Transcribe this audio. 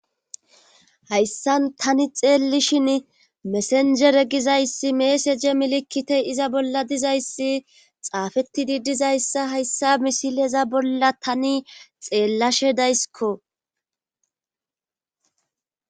hayssan tani xeellishin mesenjere gizayssi meeseje milikitey iza bolla dizayssi xaafettidi dizayssa hayssa misileza bolla tani xeellashe daysikko